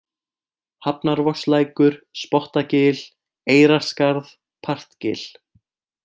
Hafnarvogslækur, Spottagil, Eyrarskarð, Partgil